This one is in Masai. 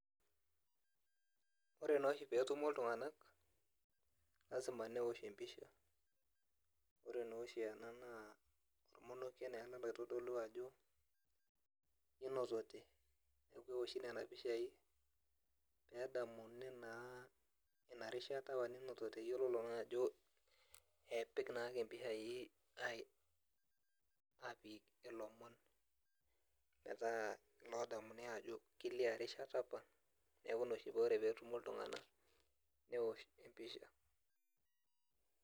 Ore noshi petumo iltung'anak, lasima newosh empisha. Ore noshi ena naa ormonokie neena oitodolu ajo kinotote. Neeku ewoshi nena pishai, pedamuni naa inarishata apa ninotote. Yiololo ajo epik naake mpishai apik ilomon metaa lodamuni ajo kelia rishata apa. Neeku ina oshi ore petumo iltung'anak, newosh empisha.